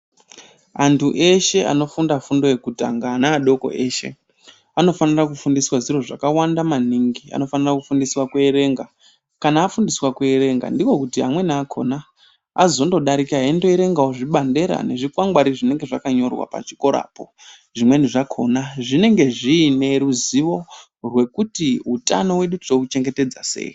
Antu eshe anofunda fundo yekutanga ana adoko eshe anofanira kufundiswa zviro zvakawanda maningi anofanira kufundiswa ku erenga kana afundiswa ku erenga ndiko kuti amweni akona azondo dairika endo erengawo zvibandera ne zvikwangwari zvinenge zvakanyorwa pa chikora po.